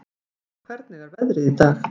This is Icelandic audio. Rán, hvernig er veðrið í dag?